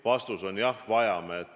Vastus on: jah, vajame.